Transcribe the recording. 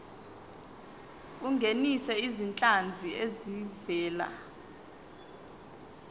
ungenise izinhlanzi ezivela